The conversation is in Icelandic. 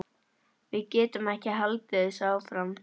Við getum ekki haldið þessu áfram.